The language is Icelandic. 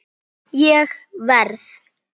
Ég verð!